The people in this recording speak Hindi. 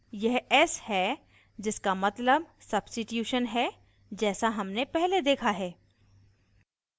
यह s है जिसका मतलब substitution है जैसा हमने पहले देखा है